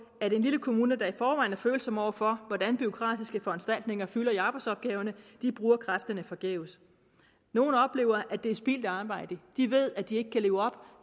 at en lille kommune der i forvejen er følsom over for hvordan bureaukratiske foranstaltninger fylder i arbejdsopgaverne bruger kræfterne forgæves nogle oplever at det er spildt arbejde de ved at de hverken kan leve op